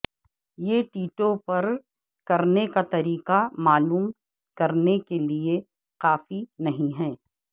یہ ٹیٹو پر کرنے کا طریقہ معلوم کرنے کے لئے کافی نہیں ہے